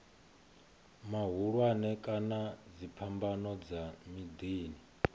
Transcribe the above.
mahulwane kana dziphambano dza miḓini